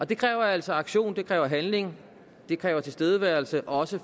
det kræver altså aktion det kræver handling det kræver tilstedeværelse også